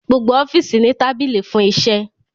Gbogbo ọfiisi ni tabili fun iṣẹ